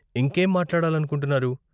ఇంకేం మాట్లాడాలనుకుంటున్నారు?